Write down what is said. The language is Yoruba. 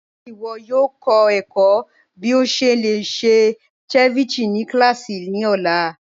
Ṣe iwọ yoo kọ ẹkọ̀ bí o ṣe lè ṣe ceviche ni kílásí ni ọ̀la?